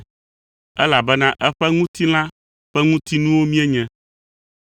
elabena eƒe ŋutilã ƒe ŋutinuwo míenye.